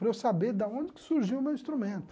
Para eu saber da onde que surgiu o meu instrumento.